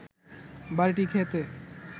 বাড়িটি খেতে